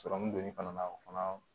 Sɔrɔmu don i fana na o fana